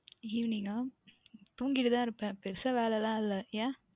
Evening அஹ் தூங்கிக்கொண்டு தான் இருப்பேன் பெரியதாக வேலை இல்லை ஏன்